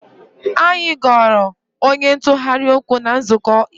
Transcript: Anyị goro onye ntụgharị okwu na nzukọ ikpeazụ